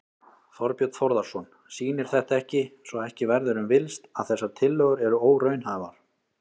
Þorbjörn Þórðarson: Sýnir þetta ekki, svo ekki verður um villst, að þessar tillögur eru óraunhæfar?